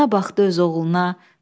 Ana baxdı öz oğluna.